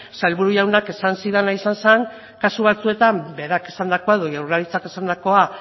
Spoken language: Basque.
sailburu jaunak esan zidana izan zen kasu batzuetan berak esandako edo jaurlaritzak esandakoa